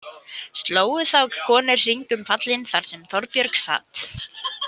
Slógu þá konur hring um pallinn þar sem Þorbjörg sat.